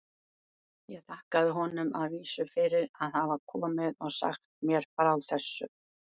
Ég þakkaði honum að vísu fyrir að hafa komið og sagt mér frá þessu.